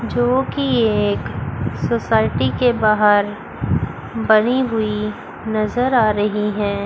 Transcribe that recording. जोकि एक सोसायटी के बाहर बनी हुई नजर आ रही है।